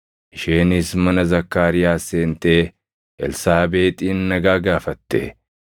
Isheenis mana Zakkaariyaas seentee Elsaabeexin nagaa gaafatte.